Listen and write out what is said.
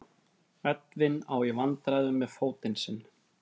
Edwin á í vandræðum með fótinn sinn.